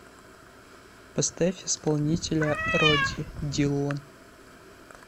поставь исполнителя роди дилон